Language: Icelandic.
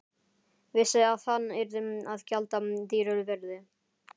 Vissi að hann yrði að gjalda dýru verði.